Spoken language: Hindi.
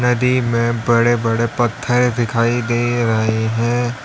नदी में बड़े बड़े पत्थर दिखाई दे रहे है।